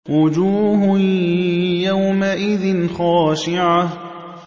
وُجُوهٌ يَوْمَئِذٍ خَاشِعَةٌ